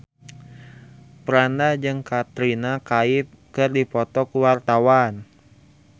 Franda jeung Katrina Kaif keur dipoto ku wartawan